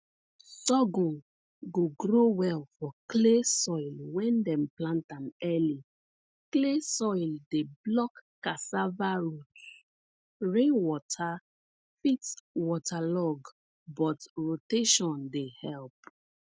sorghum go grow well for clay soil wen dem plant am early clay soil dey block cassava roots rainwater fit waterlog but rotation dey help